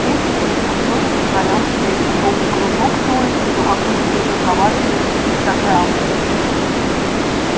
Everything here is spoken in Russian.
петя с ней вдруг тоже позволял себе то жёлтый кружок с улыбкой то какую-то придурковатую пиктограмму